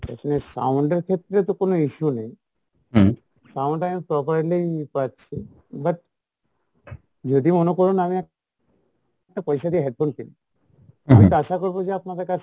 এখানে sound এর ক্ষেত্রে তো কোনো issue নেই, sound আমি properly পাচ্ছি but যদি মনে করুন আমি একটা পয়সা দিয়ে headphone কিনবো আমি তো আশা করবো যে আপনাদের কাছে